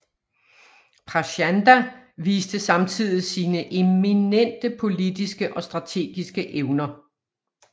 Prachanda viste samtidig sine eminente politiske og strategiske evner